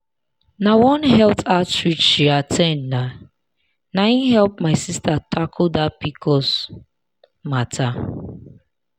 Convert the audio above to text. na one health outreach she at ten d na na him help my sister tackle that pcos matter.